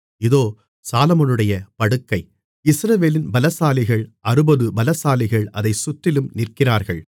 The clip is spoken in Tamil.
இதோ சாலொமோனுடைய படுக்கை இஸ்ரவேலின் பலசாலிகளில் அறுபது பலசாலிகள் அதைச் சுற்றிலும் நிற்கிறார்கள்